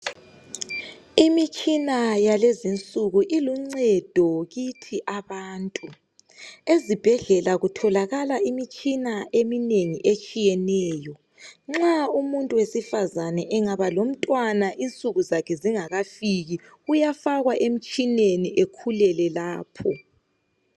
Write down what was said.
Imitshina yalezinsuku iluncedo kithi abantu ezibhedlela kutholakala imitshina eminengi etshiyeneyo. Nxa umuntu wesifazane engaba lomntwana insuku zakhe zingakafiki uyafakwa emtshineni ekhulele lapho